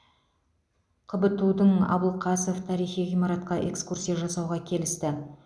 қбту дың абылқасов тарихи ғимаратқа экскурсия жасауға келісті